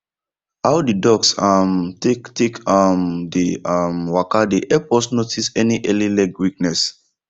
how the ducks um take take um dey um waka dey help us notice any early leg weakness